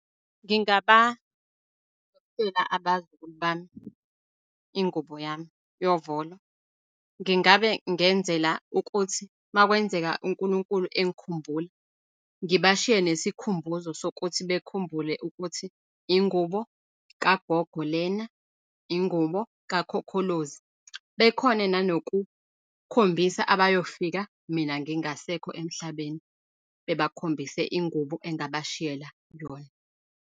Ngingaba abazukulu bami ingubo yami yovolo. Ngingabe ngenzela ukuthi makwenzeka unkulunkulu engikhumbula, ngibashiye nesikhumbuzo sokuthi bekhumbule ukuthi ingubo kagogo lena, ingubo kakhokholozi bekhone nanokukhombisa abayofika mina ngingasekho emhlabeni, bebakhombise ingubo engabashiyela yona.